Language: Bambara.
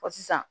Fɔ sisan